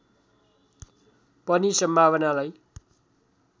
पनि सम्भावनालाई